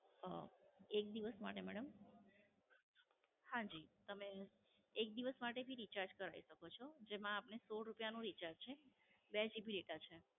હમ એક દિવસ માટે મેડમ? હાં જી, તમે એક દિવસ માટે ભી Recharge કરાવી શકો છો. જેમાં આપણે સો રૂપિયા નું Recharge છે. બે GB data છે